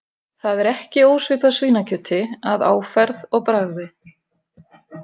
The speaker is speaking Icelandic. Það er ekki ósvipað svínakjöti að áferð og bragði.